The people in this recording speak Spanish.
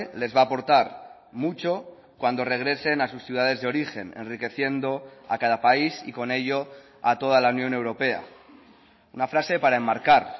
les va a aportar mucho cuando regresen a sus ciudades de origen enriqueciendo a cada país y con ello a toda la unión europea una frase para enmarcar